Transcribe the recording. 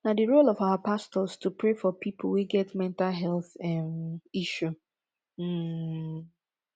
na di role of our pastors to pray for pipo wey get mental health um issue um